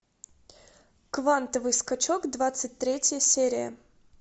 квантовый скачок двадцать третья серия